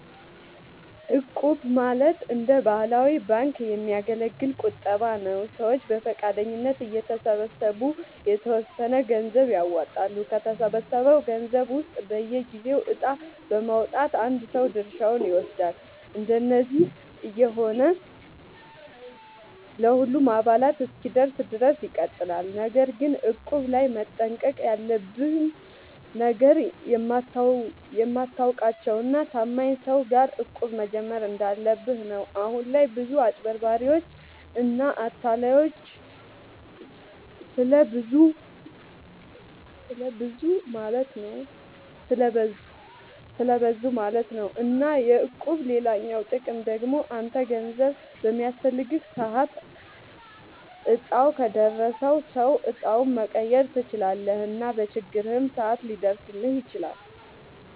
እቁብ ማለት እንደ ባህላዊ ባንክ የሚያገለግል ቁጠባ ነዉ። ሰዎች በፈቃደኝነት እየተሰባሰቡ የተወሰነ ገንዘብ ያዋጣሉ፣ ከተሰበሰበው ገንዘብ ውስጥ በየጊዜው እጣ በማዉጣት አንድ ሰው ድርሻውን ይወስዳል። እንደዚህ እየሆነ ለሁሉም አባላት እስኪደርስ ድረስ ይቀጥላል። ነገር ግን እቁብ ላይ መጠንቀቅ ያለብህ ነገር፣ የምታውቃቸው እና ታማኝ ሰዎች ጋር እቁብ መጀመር እንዳለብህ ነው። አሁን ላይ ብዙ አጭበርባሪዎች እና አታላዮች ስለብዙ ማለት ነው። እና የእቁብ ሌላኛው ጥቅም ደግሞ አንተ ገንዘብ በሚያስፈልግህ ሰዓት እጣው ከደረሰው ሰው እጣውን መቀየር ትችላለህ እና በችግርህም ሰዓት ሊደርስልህ ይችላል።